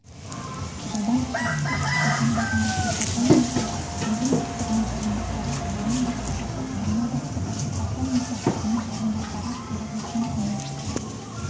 жылдан қауіпсіздік органдарында департаментінде бөлім бастығының орынбасары бөлім бастығы басқарма бастығы департамент бастығының орынбасары төрағасының кеңесшісі